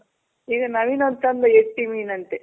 ಈಗ ನವೀನ್ ಒಂದ್ ತಂದ. ಎತ್ತಿ ಮೀನಂತೆ.